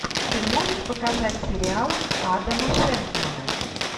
ты можешь показать сериал адама шенкмана